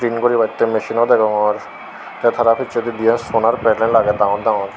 pin guribattey misin o degongor tey tara pissedi dien solar belar agey dangor dangor.